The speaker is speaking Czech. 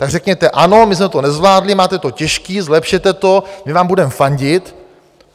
Tak řekněte ano, my jsme to nezvládli, máte to těžký, zlepšete to, my vám budeme fandit.